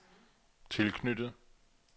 tilknyttet